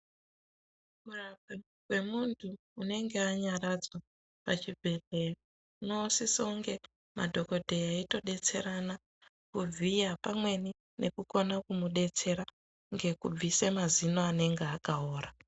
Kurapwa kwemuntu unonga anyaradzwa pachibhedhleya ,unosisounge madhokodheya eitodetserana kuvhiya pamweni ,nekukone kumudetsera ngekubvise mazino anenge akaora.